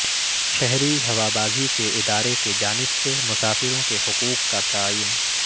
شہری ہوابازی کے ادارے کی جانب سے مسافروں کے حقوق کا تعین